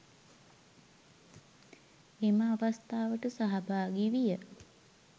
එම අවස්ථාවට සහභාගි විය.